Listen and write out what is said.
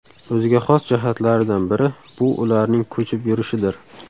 O‘ziga xos jihatlaridan biri bu ularning ko‘chib yurishidir.